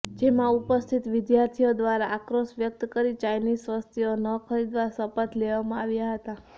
જેમાં ઉપસ્થિત વિદ્યાર્થીઓ દ્વારા આક્રોષ વ્યક્ત કરી ચાઈનીઝ વસ્તુઓ ન ખરીદવા શપથ લેવામાં આવ્યા હતાં